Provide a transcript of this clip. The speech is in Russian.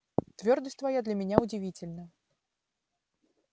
твёрдость твоя для меня удивительна